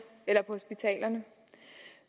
eller på hospitalerne